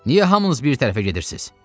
Niyə hamınız bir tərəfə gedirsiz?